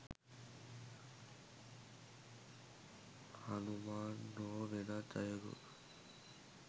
හනුමාන් හෝ වෙනත් අයකු